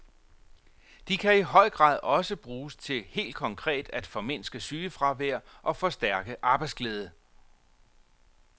De kan i høj grad også bruges til helt konkret at formindske sygefravær og forstærke arbejdsglæde.